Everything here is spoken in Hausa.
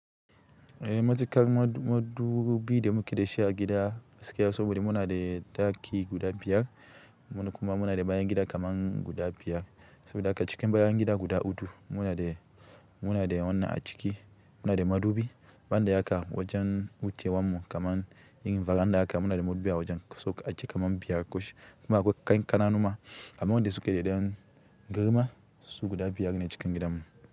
Eh, matuƙar madubi da muke da shi a gida gaski ya sobode mi. Muna da ɗaki guda biyar kuma muna da bayan gida kaman guda biyar. Soɓoɗa haka ciki bayan gida guda huɗu. Muna da, muna da wannan a ciki muna da madubi. Banda haka wajen wucewanmu kaman yin faranda haka muna da madubi a wajen kaso aka ajiye kaman biyar ko shida. Kuma akwai kankananu ma. Amma wanda suka iya dan garinnan su guda biyar ne cikin gidanmu.